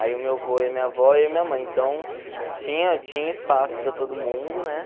Aí o meu avô e a minha avó e eu e a minha mãe, então tinha tinha espaço para todo mundo, né?